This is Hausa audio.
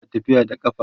ana tafiya da ƙafa